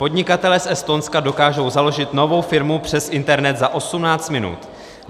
Podnikatelé z Estonska dokážou založit novou firmu přes internet za 18 minut.